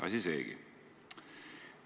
Asi seegi!